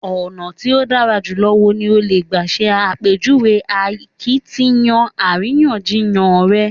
Ọ̀nà tí ó dára jùlọ wo ni o lè gbà ṣe àpèjúwe akiytiyan àríyànjiyàn rẹ?